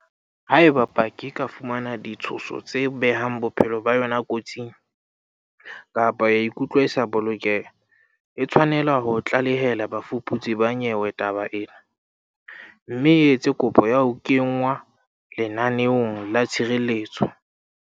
Haeba paki e ka fumana ditshoso tse behang bophelo ba yona kotsing, kapa ya ikutlwa e sa bolokeha, e tshwanela ho tlalehela bafuputsi ba nyewe taba ena, mme e etse kopo ya ho kenngwa lenaneong la tshireletso.